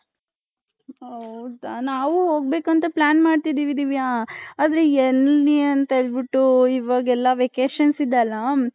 ಹೌದ ನಾವು ಹೋಗ್ಬೇಕು ಅಂತ plan ಮಾಡ್ತೈದಿವಿ ದಿವ್ಯ ಆದ್ರೆ ಎಲಿ ಅಂತ ಹೇಳ್ಬಿಟ್ಟು ಇವಗ್ ಎಲ್ಲಾ vacations ಇದೆ ಅಲ್ಲ .